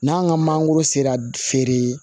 N'an ka mangoro sera feere